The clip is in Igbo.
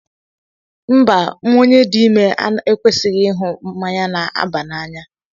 Mba, onye dị ime ekwesighi ịṅụ mmanya na-aba n'anya.